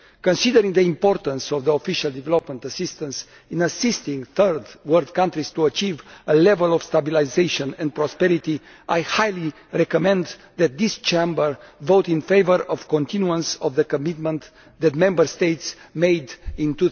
Considering the importance of official development assistance in assisting third world countries to achieve a level of stabilisation and prosperity, I highly recommend that this Chamber votes in favour of the continuance of the commitment that Member States made in